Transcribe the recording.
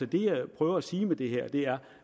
det jeg prøver at sige med det her er